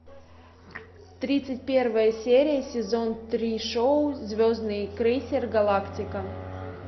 тридцать первая серия сезон три шоу звездный крейсер галактика